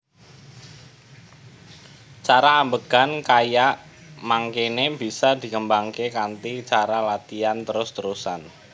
Cara ambegan kaya mangkene bisa dikembangake kanthi cara latian trus trusan